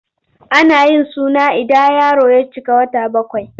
Ana yin suna ida yaro ya cika kwana bakwai.